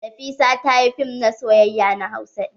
Nafisa ta yi fim na soyayya na hausa ɗin.